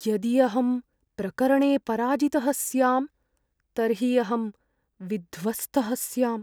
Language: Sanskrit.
यदि अहं प्रकरणे पराजितः स्यां, तर्हि अहं विध्वस्तः स्याम्।